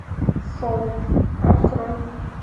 солт открой